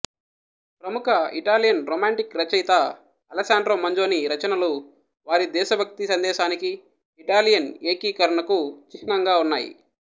ప్రముఖ Italian romantic రచయిత Alessandro Manzoni రచనలు వారి దేశభక్తి సందేశానికి ఇటాలియన్ ఏకీకరణకు చిహ్నంగా ఉన్నాయి